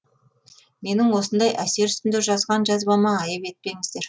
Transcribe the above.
менің осындай әсер үстінде жазған жазбама айып етпеңіздер